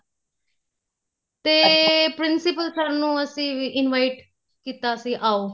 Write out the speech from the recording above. ਤੇ principal mam ਨੂੰ ਅਸੀਂ ਵੀ invite ਕੀਤਾ ਸੀ ਆਉ